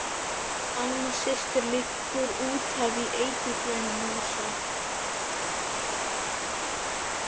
Alma systir liggur útaf í eiturgrænum mosa.